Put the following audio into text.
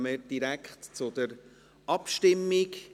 Dann kommen wir direkt zur Abstimmung.